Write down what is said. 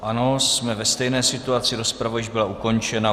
Ano, jsme ve stejné situaci, rozprava již byla ukončena.